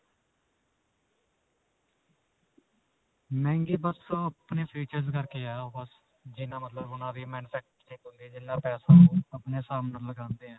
ਮਹਿੰਗੇ ਬਸ ਅਅ ਆਪਣੇ features ਕਰਕੇ ਹੈ. ਬਸ ਜਿੰਨਾ ਮਤਲਬ ਓਹਨਾਂ ਦੀ manufacturing ਹੁੰਦੀ ਹੈ, ਜਿੰਨਾ ਪੈਸਾ ਓਹ ਆਪਣੇ ਹਿਸਾਬ ਨਾਲ ਲਗਾਉਂਦੇ ਹੈ.